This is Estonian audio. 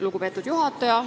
Lugupeetud juhataja!